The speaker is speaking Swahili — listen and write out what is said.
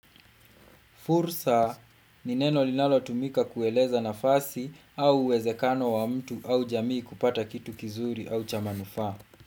Fursa ni neno linalotumika kueleza nafasi au uwezekano wa mtu au jamii kupata kitu kizuri au cha manufaa.